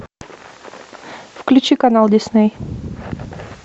включи канал дисней